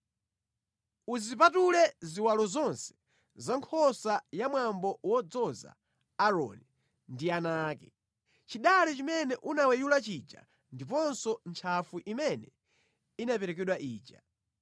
“Uzipatule ziwalo zonse za nkhosa ya pa mwambo wodzoza Aaroni ndi ana ake. Chidale chimene unaweyula chija ndiponso ntchafu imene inaperekedwa ija.